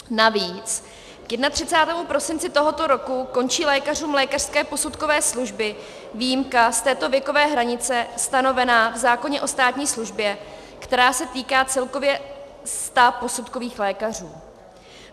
Navíc k 31. prosinci tohoto roku končí lékařům lékařské posudkové služby výjimka z této věkové hranice stanovená v zákoně o státní službě, která se týká celkově sta posudkových lékařů.